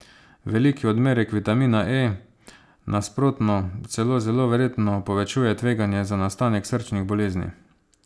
Veliki odmerki vitamina E, nasprotno, celo zelo verjetno povečujejo tveganje za nastanek srčnih bolezni.